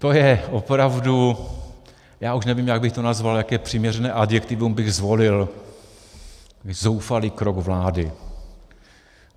To je opravdu - já už nevím, jak bych to nazval, jaké přiměřené adjektivum bych zvolil - zoufalý krok vlády.